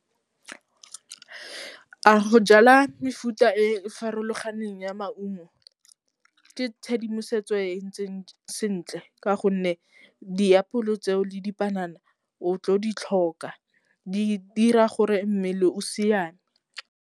A go jala mefuta e farologaneng ya maungo ke tshedimosetso e e ntseng sentle ka gonne diapole tseo le dipanana o tlo ditlhoka di dira gore mmele o siame.